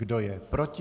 Kdo je proti?